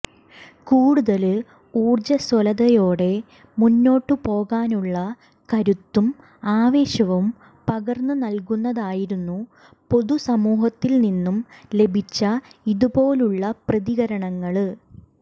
കൂടുതല് ഊര്ജ്ജസ്വലതയോടെ മുന്നോട്ടുപോകാനുള്ള കരുത്തും ആവേശവും പകര്ന്നു നല്കുന്നതായിരുന്നു പൊതുസമൂഹത്തില്നിന്നും ലഭിച്ച ഇതുപോലുള്ള പ്രതികരണങ്ങള്